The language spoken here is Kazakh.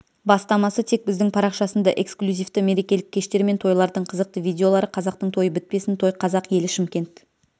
бастамасы тек біздің парақшасында эксклюзивті мерекелік кештер мен тойлардың қызықты видеолары қазақтың тойы бітпесін той қазақ елі шымкент